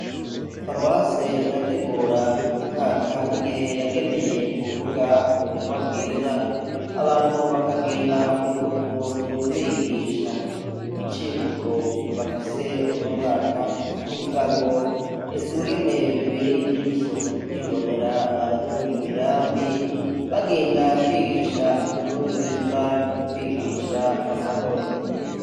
Paruwasi irategura buri mwaka igihe yageneye kuvuga ubutumwa bwiza abantu bakagenda kunzu kunzu bigisha. Icivugo bafise unomwaka kivuga ngo es'ingene biberey'ijisho kwibonera abaduga imirambi bagenda kwigisha inkuru nziza no kwigisha amahoro.